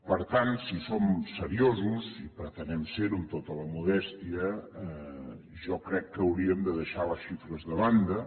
per tant si som seriosos i pretenem ser ho amb tota la modèstia jo crec que hauríem de deixar les xifres de banda